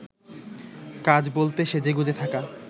কাজ বলতে সেজেগুজে থাকা